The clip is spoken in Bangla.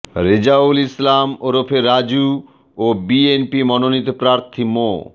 রেজাউল ইসলাম ওরফে রাজু ও বিএনপি মনোনীত প্রার্থী মো